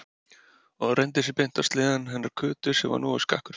Og hann renndi sér beint á litla sleðann hennar Kötu sem var nógu skakkur fyrir.